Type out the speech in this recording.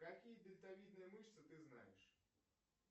какие дельтовидные мышцы ты знаешь